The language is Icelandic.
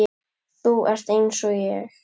Þú ert einsog ég.